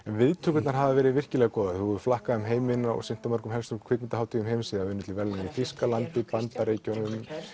viðtökurnar hafa verið virkilega góðar þú hefur flakkað um heiminn og sýnt á helstu kvikmyndahátíðum heims unnið til verðlauna í Þýskalandi Bandaríkjunum